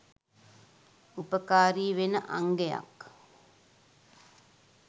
උපකාරී වෙන අංගයක්.